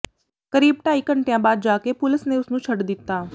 ਕਰੀਬ ਢਾਈ ਘੰਟਿਆਂ ਬਾਅਦ ਜਾ ਕੇ ਪੁਲਸ ਨੇ ਉਸ ਨੂੰ ਛੱਡ ਦਿੱਤਾ